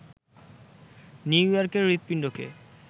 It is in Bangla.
নিউ ইয়র্কের হূৎপিণ্ডকে